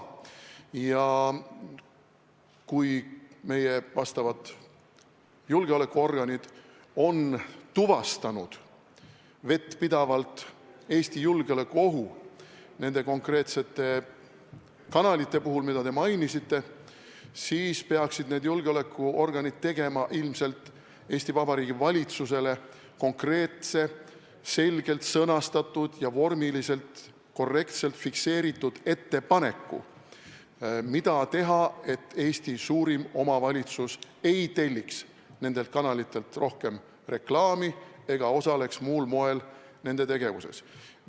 Kui meie julgeolekuorganid on vettpidavalt tuvastanud julgeolekuohu Eestile nende konkreetsete kanalite puhul, mida te mainisite, siis peaksid need julgeolekuorganid ilmselt tegema Eesti Vabariigi valitsusele konkreetse, selgelt sõnastatud ja vormiliselt korrektselt fikseeritud ettepaneku, mida teha, et Eesti suurim omavalitsus ei telliks nendelt kanalitelt rohkem reklaami ega osaleks muul moel nende tegevuses.